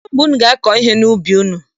Kedụ mgbe unu ga-akọ ihe n'ubi unu?